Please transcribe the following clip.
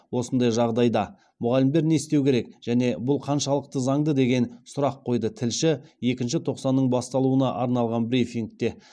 осындай жағдайда мұғалімдер не істеу керек және бұл қаншалықты заңды деген сұрақ қойды тілші екінші тоқсанның басталуына арналған брифингте